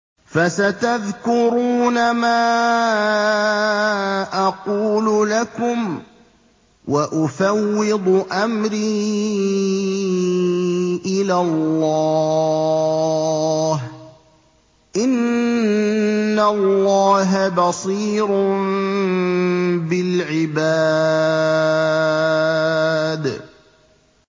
فَسَتَذْكُرُونَ مَا أَقُولُ لَكُمْ ۚ وَأُفَوِّضُ أَمْرِي إِلَى اللَّهِ ۚ إِنَّ اللَّهَ بَصِيرٌ بِالْعِبَادِ